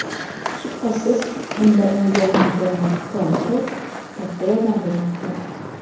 Shubhasiz, bunda unga Antonio Konte katta yordam bermoqda.